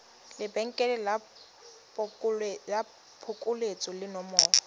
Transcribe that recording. lebenkele la phokoletso le nomoro